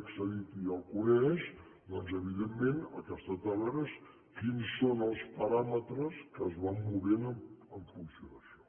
accedit i ja el coneix doncs evidentment el que es tracta de veure és quins són els paràmetres que es van movent en funció d’això